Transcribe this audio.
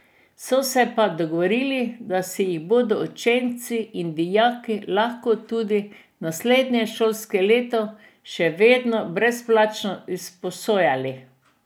So se pa dogovorili, da si jih bodo učenci in dijaki lahko tudi naslednje šolsko leto še vedno brezplačno izposojali.